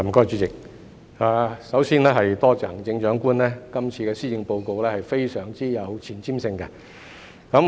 主席，首先多謝行政長官今次的施政報告非常有前瞻性。